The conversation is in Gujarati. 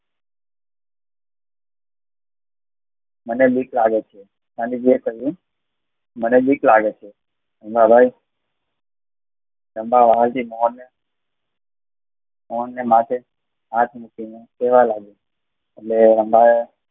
મને બીક લાગે છે. ગાંધીજી એ કહ્યું, મને બીક લાગે છે અંધારે કરાવતી મોં એ એમને માથે હાથ મૂકીને કહેવા લાગી